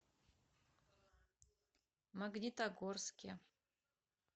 магнитогорске